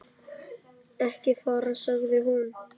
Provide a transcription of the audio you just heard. Ekki fara, sagði hún.